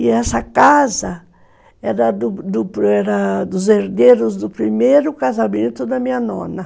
E essa casa era dos herdeiros do primeiro casamento da minha nona.